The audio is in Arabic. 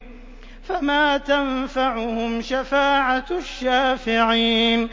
فَمَا تَنفَعُهُمْ شَفَاعَةُ الشَّافِعِينَ